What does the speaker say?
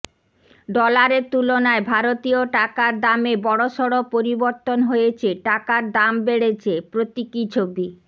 ডলারের তুলনায় ভারতীয় টাকার দামে বড়সড় পরিবর্তন হয়েছে টাকার দাম বেড়েছে প্রতীকী ছবি